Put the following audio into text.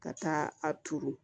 Ka taa a turu